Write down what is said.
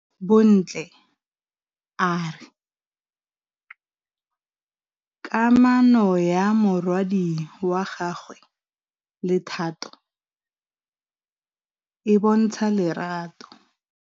Bontle a re kamanô ya morwadi wa gagwe le Thato e bontsha lerato.